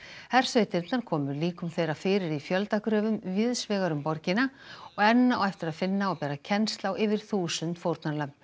hersveitirnar komu líkum þeirra fyrir í víðs vegar um borgina og enn á eftir að finna og bera kennsl á yfir þúsund fórnarlömb